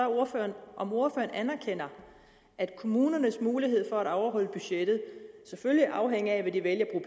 ordføreren om ordføreren anerkender at kommunernes mulighed for at overholde budgettet selvfølgelig afhænger af hvad de vælger at